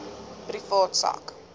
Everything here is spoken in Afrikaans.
privaat sak